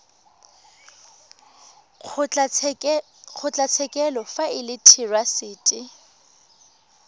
kgotlatshekelo fa e le therasete